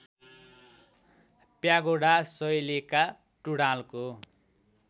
pagoda शैलीका टुँडालको